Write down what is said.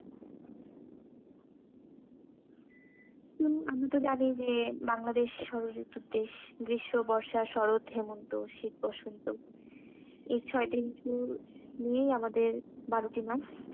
হম আমরাতো জানি যে বাংলাদেশ ষড়ঋতুর দেশ, গ্রীষ্ম, বর্ষা, শরৎ, হেমন্ত, শীত, বসন্ত এই ছয়টি ঋতু নিয়েই আমাদের বারোটি মাস।